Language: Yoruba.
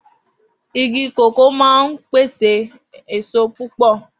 Igi kòkó máa ń pèsè èso púpọ̀